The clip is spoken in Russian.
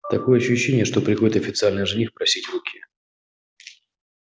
такое ощущение что приходит официальный жених просить руки